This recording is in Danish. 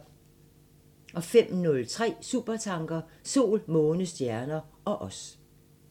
05:03: Supertanker: Sol, måne, stjerner ... og os